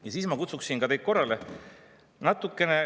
Ja ma kutsuksin teid ka korrale.